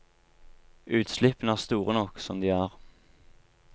Utslippene er store nok som de er.